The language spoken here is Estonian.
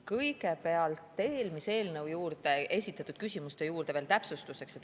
Kõigepealt ütlen eelmise eelnõu juures esitatud küsimuste juurde veel täpsustuseks.